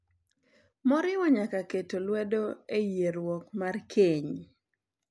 Moriwo nyaka keto lwedo e yierruok mar keny .